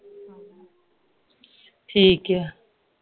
ਠੀਕ ਏ ਆ